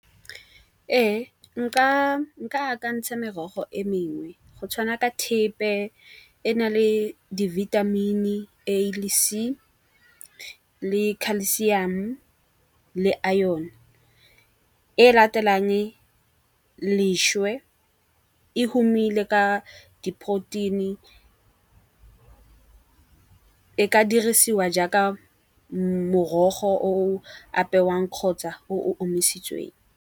Ee, nka ka akantsha merogo e mengwe go tshwana ka thepe e na le di vitamin-i A le C le Calcioum le Iron. E latelang leswe e humile ka di protein-i e ka dirisiwa jaaka morogo o o apewang kgotsa o o omisitsweng.